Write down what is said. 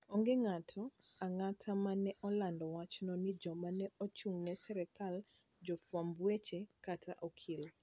Onge ng'ato ang'ata ma ne olando wachno ne joma ne ochung'ne sirkal, jofwamb weche, kata okil.